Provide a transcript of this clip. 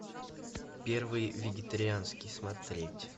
первый вегетарианский смотреть